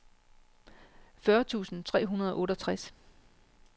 fyrre tusind tre hundrede og otteogtres